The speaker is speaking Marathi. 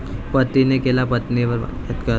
पतीने केला पत्नीवर बलात्कार